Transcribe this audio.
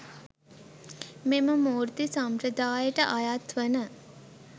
මෙම මූර්ති සම්ප්‍රදායට අයත් වන